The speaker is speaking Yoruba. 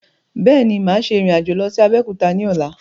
Bẹ́ẹ̀ni, máa ṣe ìrìn-àjò lọ sí Abẹ́òkúta ni ọ̀la